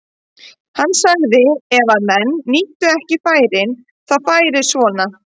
Hann sagði að ef menn nýttu ekki færin þá færi svona.